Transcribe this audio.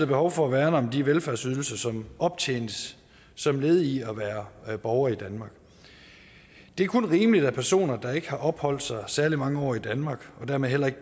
behov for at værne om de velfærdsydelser som optjenes som led i at være borger i danmark det er kun rimeligt at personer der ikke har opholdt sig særlig mange år i danmark og dermed heller ikke